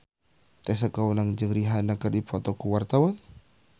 Tessa Kaunang jeung Rihanna keur dipoto ku wartawan